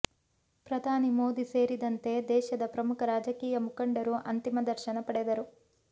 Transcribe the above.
ಪ್ರಧಾನಿ ಮೋದಿ ಸೇರಿದಂತೆ ದೇಶದ ಪ್ರಮುಖ ರಾಜಕೀಯ ಮುಖಂಡರು ಅಂತಿಮ ದರ್ಶನ ಪಡೆದರು